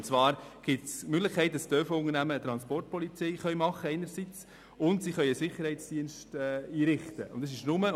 Die Möglichkeit besteht, dass Transportunternehmen eine Transportpolizei schaffen und einen Sicherheitsdienst einrichten können.